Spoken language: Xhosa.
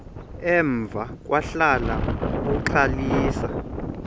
emva kwahlala uxalisa